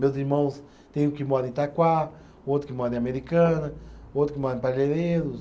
Meus irmãos têm um que mora em Itaquá, outro que mora em Americana, outro que mora em Parelheiros.